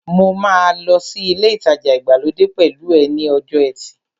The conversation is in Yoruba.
Mo máa lọ sí ilé ìtajà ìgbàlódé pẹ̀lú ẹ ní ọjọ́ ẹtì